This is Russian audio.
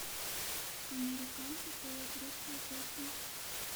американка поет русскую песню